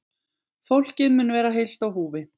Fólkið mun vera heilt á húfi